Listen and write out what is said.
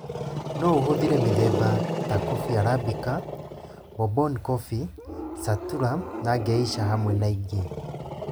No ũhũthĩre mĩthemba ta coffee arabica, bourbon coffee, caturra na Geisha hamwe na ĩngĩ